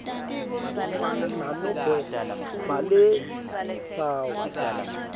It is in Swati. masinyane nanobe banetimphawu